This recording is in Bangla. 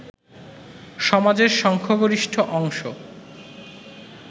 সমাজের সংখ্যাগরিষ্ঠ অংশ